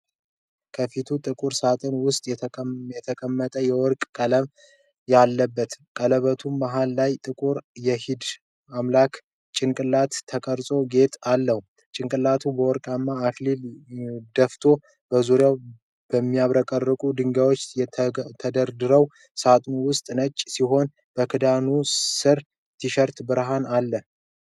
ከፊቱ ጥቁር ሳጥን ውስጥ የተቀመጠ የወርቅ ቀለበት አለ። ቀለበቱ መሃል ላይ ጥቁር የሂንዱ አምላክ ጭንቅላት የተቀረጸበት ጌጥ አለ። ጭንቅላቱ በወርቃማ አክሊል ደፍኖ በዙሪያው የሚያብረቀርቁ ድንጋዮች ተደርድረዋል። ሳጥኑ ከውስጥ ነጭ ሲሆን በክዳኑ ስር ትንሽ ብርሃን አለው።